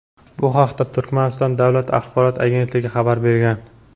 Bu haqda Turkmaniston davlat axborot agentligi xabar bergan.